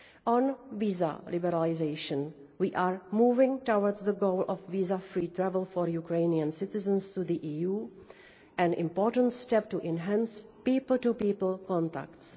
On visa liberalisation, we are moving towards the goal of visa free travel for Ukrainian citizens to the EU, an important step to enhance people to people contacts.